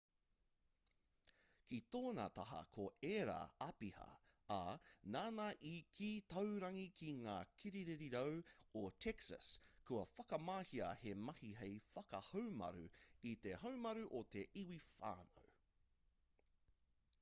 ki tōna taha ko ērā āpiha ā nāna i kī taurangi ki ngā kirirarau o texas kua whakamahia he mahi hei whakahaumaru i te haumaru o te iwi whānui